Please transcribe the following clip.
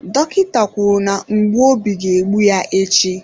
Dọkịta kwuru na mgbu obi ga egbu ya echi.